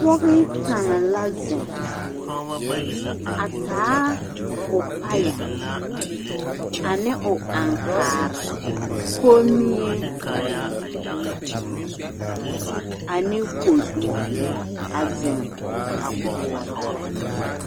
Pɔge kaŋ la zeŋ a taa o paya ane o aŋkaare komie ane kodu a zeŋ a koɔrɔ.